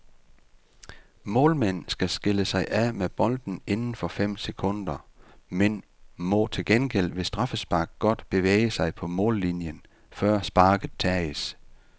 Målmænd skal skille sig af med bolden inden for fem sekunder, men må til gengæld ved straffespark godt bevæge sig på mållinjen, før sparket tages.